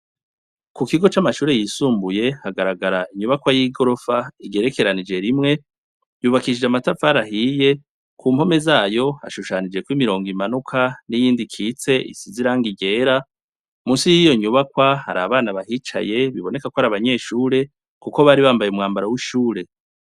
Ku kigo c'amashure yisumbuye hagaragara inyubakwa y'igorofa igerekeranije rimwe , yubakishije amatafari ahiye ku mpome zayo hashushanijeko imorongo imanuka ni yindi ikitse isize irangi ryera. Musi yiyo nyubakwa hari abana bahicaye biboneka ko ar'abanyeshure kuko bari bambaye umwambaro w'ishure.